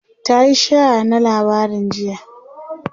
tayi share na labarin jiya